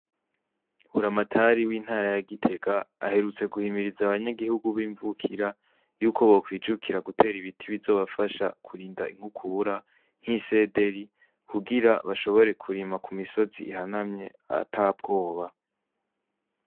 Buramatari w'intara ya gitega aherutse guhimiriza abanyagihugu b'imvukira, yuko bokwijukira gutera ibiti bizobafasha kurinda inkukura, nk'isederi kugira bashobore kurima Ku misozi ihanamye atabwoba.